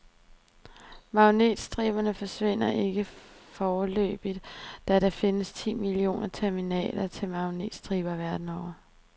Magnetstriberne forsvinder ikke foreløbigt, da der findes ti millioner terminaler til magnetstriber verden over.